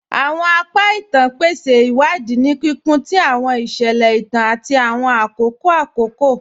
Awọn apa ìtàn pèsè iwadi ni kíkún tì awọn iṣẹlẹ ìtàn àti awọn akókò akókò.